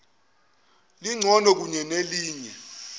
alibona lingcono kunelinye